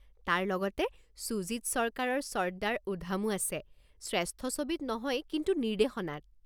তাৰ লগতে সুজিত সৰকাৰৰ চৰ্দাৰ উধাম-ও আছে, শ্ৰেষ্ঠ ছবিত নহয় কিন্তু নিৰ্দেশনাত।